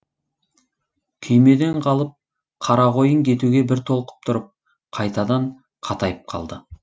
күймеден қалып қарақойын кетуге бір толқып тұрып қайтадан қатайып қалды